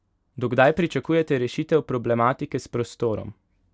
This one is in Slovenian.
Do kdaj pričakujete rešitev problematike s prostorom?